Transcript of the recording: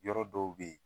Yɔrɔ dɔw bɛ yen